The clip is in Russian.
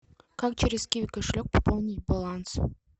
как через киви кошелек пополнить баланс